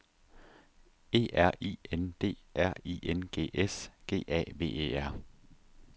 E R I N D R I N G S G A V E R